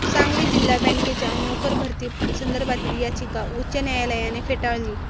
सांगली जिल्हा बँकेच्या नोकर भरती संदर्भातील याचिका उच्च न्यायालयाने फेटाळली